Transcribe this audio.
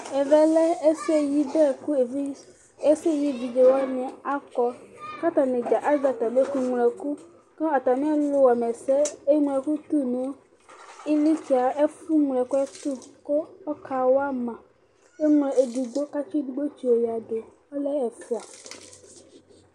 Ɛvɛ lɛ ɛsɛyɩbɛ, kʋ ɛsɛyɩevidze wani akɔ, kʋ atani dza azɛ atami ɛkʋŋloɛkʋ, kʋ atami alu wama ɛsɛ eŋlo ɛkʋ tʋ nʋ iɣlitsɛ, ɛfʋ ŋloɛkʋɛtʋ, kʋ ɔkawa ma Eŋlo edigbo, kʋ atsi yɔ edigbo tsiyoyǝdu Ɔlɛ ɛfʋa